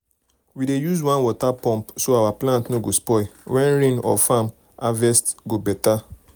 we dey use one water pump so our plant no go spoil when rain for farm and harvest go better.